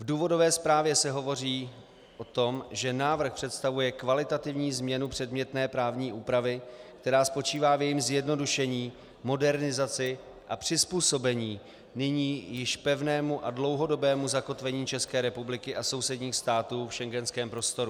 V důvodové zprávě se hovoří o tom, že návrh představuje kvalitativní změnu předmětné právní úpravy, která spočívá v jejím zjednodušení, modernizaci a přizpůsobení nyní již pevnému a dlouhodobému zakotvení České republiky a sousedních států v schengenském prostoru.